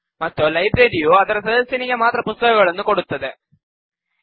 ಮತ್ತು ಲೈಬ್ರರಿಯು ಅದರ ಸದಸ್ಯನಿಗೆ ಮಾತ್ರ ಪುಸ್ತಕಗಳನ್ನು ಕೊಡುತ್ತದೆ